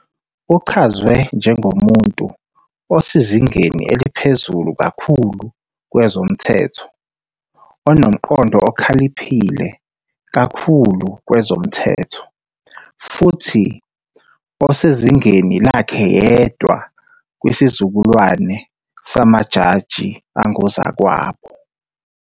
Uchazwe njengomuntu "osezingeni eliphezulu kakhulu kwezomthetho", "onomqondo okhaliphe kakhulu kwezomthetho kanti futhi "osezingeni lakhe yedwa" kwisizukulwane "samajaji angozakwabo".